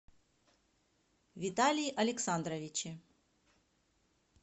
виталии александровиче